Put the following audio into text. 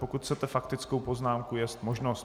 Pokud chcete faktickou poznámku, jest možno.